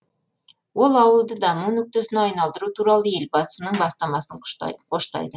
ол ауылды даму нүктесіне айналдыру туралы елбасының бастамасын қоштайды